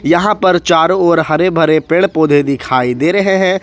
यहाँ पर चारों ओर हरे भरे पेड़ पौधे दिखाई दे रहे हैं।